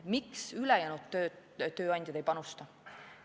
Miks ülejäänud tööandjad ei panusta?